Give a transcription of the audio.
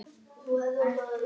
Það er gaman.